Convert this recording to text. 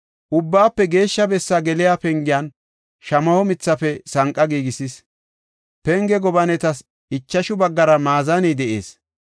Ubbaafe Geeshsha bessa geliya pengiyan shamaho mithafe sanqa giigisis. Penge gobanetas ichashu baggara maazaney de7ees.